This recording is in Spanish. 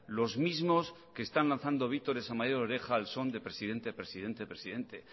los mismos que están lanzado vítores a mayor oreja al son de presidente presidente presidente